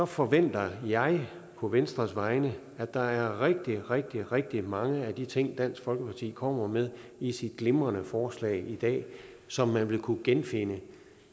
forventer jeg på venstres vegne at der er rigtig rigtig rigtig mange af de ting dansk folkeparti kommer med i sit glimrende forslag i dag som man vil kunne genfinde